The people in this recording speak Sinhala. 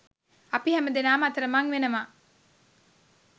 අපි හැමදෙනාම අතරමං වෙනවා.